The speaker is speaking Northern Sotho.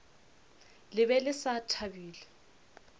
le be le sa thabile